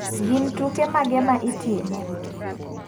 Gin tuke mage ma itimo?